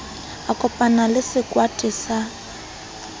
a kopanang le sekweta se